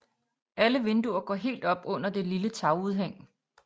Alle vinduer går helt op under det lille tagudhæng